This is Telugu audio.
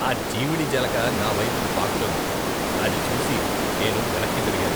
ఆ జీమిడి జలగ నావైపుకి పాకుతోంది, అది చూసి నేను వెనక్కి జరిగాను.